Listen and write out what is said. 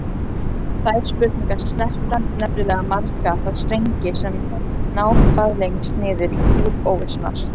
Þær spurningar snerta nefnilega marga þá strengi sem ná hvað lengst niður í djúp óvissunnar.